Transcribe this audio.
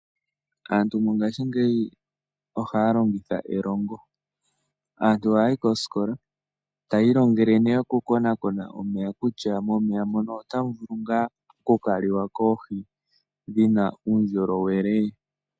Aantu mongaashingeyi ohaya longitha e longo. Aantu ohaya yi koskola tayi ilongele nee oku konaakona omeya kutya momeya mono otamu vulu ngaa oku kaliwa koohi dhina uundjolowelee.